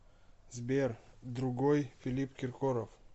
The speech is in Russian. сбер другой филипп киркоров